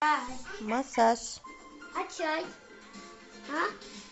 массаж